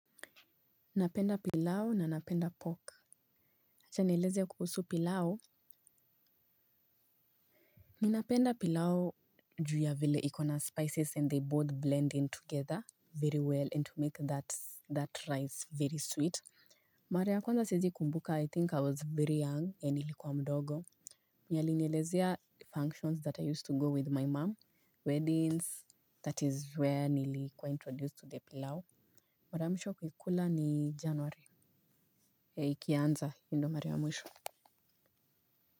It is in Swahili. Napenda pilau na napenda pork. Acha nieleze kuhusu pilau. Ninapenda pilau juu ya vile iko na spices and they both blend in together very well and to make that rice very sweet. Mara ya kwanza siwezi kumbuka I think I was very young nilikuwa mdogo. Alinielezea functions that I used to go with my mom. Weddings, that is where nilikuwa introduced to the pilao. Mara ya mwisho kuikula ni janwari. Ikianza, ndo mara ya mwisho.